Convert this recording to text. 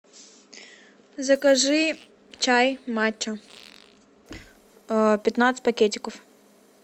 закажи чай мачо пятнадцать пакетиков